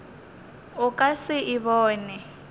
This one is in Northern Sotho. o ka se e bone